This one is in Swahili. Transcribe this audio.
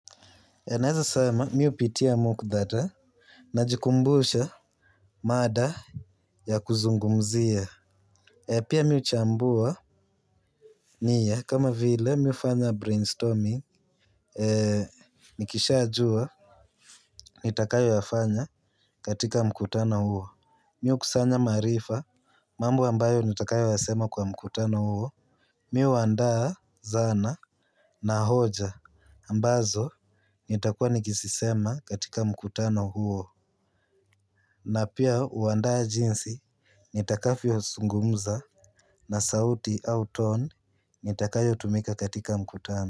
Naeza sema mihupitia mkutadha, na jikumbusha mada ya kuzungumzia. Pia mihuchambua niya kama vile mihufanya brainstorming. Nikisha jua, nitakayo yafanya katika mkutano huo. Mi hukusanya maarifa, mambo ambayo nitakayo yasema kwa mkutano huo. Mi huandaa zana na hoja, ambazo nitakua nikizisema katika mkutano huo. Na pia huandaa jinsi nitakavyo zungumza na sauti au toni nitakayo tumika katika mkutano.